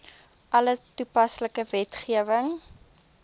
alle toepaslike wetgewing